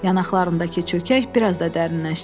Yanaqlarındakı çökək bir az da dərinləşdi.